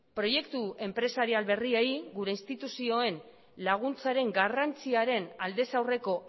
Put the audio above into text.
proiektu enpresarial berriei gure instituzioen laguntzaren garrantziaren aldez aurreko